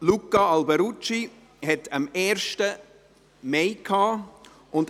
Luca Alberucci hatte am 1. Mai Geburtstag.